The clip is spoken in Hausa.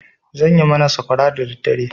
Zan yi mana sakwara dadaddare.